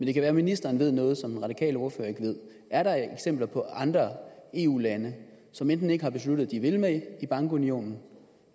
det kan være ministeren ved noget som den radikale ordfører ikke ved er der eksempler på andre eu lande som enten ikke har besluttet at de vil med i bankunionen